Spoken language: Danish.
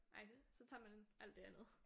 Nej det så tager man alt det andet